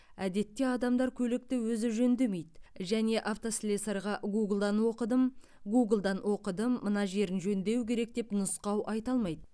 әдетте адамдар көлікті өзі жөндемейді және автослесарьға гуглдан оқыдым гуглдан оқыдым мына жерін жөндеу керек деп нұсқау айта алмайды